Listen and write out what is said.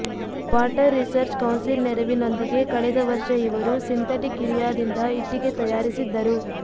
water research council ನೆರವಿನೊಂದಿಗೆ ಕಳೆದ ವರ್ಷ ಇವರು ಸಿಂಥೆಟಿಕ್ ಯೂರಿಯಾದಿಂದ ಇಟ್ಟಿಗೆ ತಯಾರಿಸಿದ್ದರು